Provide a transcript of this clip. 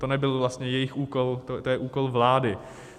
To nebyl vlastně jejich úkol, to je úkol vlády.